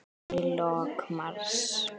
Í lok mars